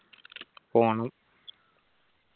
പോണം